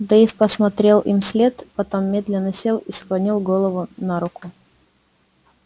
дейв посмотрел им вслед потом медленно сел и склонил голову на руку